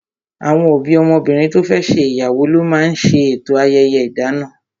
Àwọn òbí ọmọbìnrin to fẹ́ ṣe ìyàwó ló máa ń ṣe eto ayẹyẹ idana